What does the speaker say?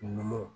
Numuw